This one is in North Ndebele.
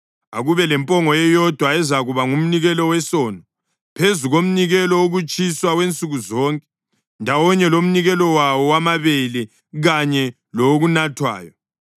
Akube lempongo eyodwa ezakuba ngumnikelo wesono, phezu komnikelo wokutshiswa wansuku zonke ndawonye lomnikelo wawo wamabele kanye lowokunathwayo.